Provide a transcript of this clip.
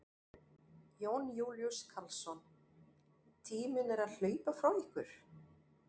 Jón Júlíus Karlsson: Tíminn er að hlaupa frá ykkur?